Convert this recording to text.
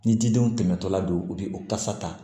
Ni jidenw tɛmɛtɔla don u bɛ o kasa ta